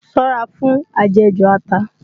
Ṣọ́ra fún ajẹ̀jù ata!